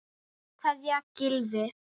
Kær kveðja, Gylfi.